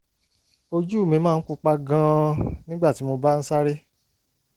ojú mi máa ń pupa gan-an nígbà tí mo bá ń sáré